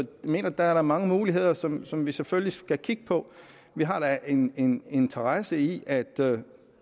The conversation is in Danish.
mener der er mange muligheder som som vi selvfølgelig skal kigge på vi har da en interesse i